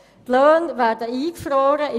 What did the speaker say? Die Löhne werden eingefroren;